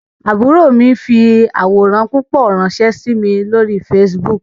Àbúrò mi fi àwòrán púpọ̀ ránsẹ́ sí mi lórí Facebook